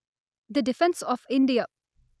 the defence of India